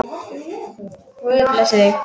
Guð blessi mig.